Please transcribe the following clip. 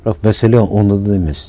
бірақ мәселе онда да емес